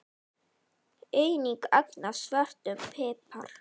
Einnig ögn af svörtum pipar.